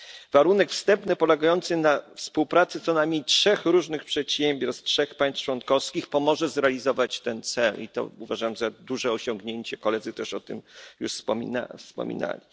Warunek wstępny polegający na współpracy co najmniej trzech różnych przedsiębiorstw z trzech państw członkowskich pomoże zrealizować ten cel i to uważam za duże osiągnięcie koledzy też już o tym wspominali.